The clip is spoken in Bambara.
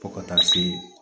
Fo ka taa se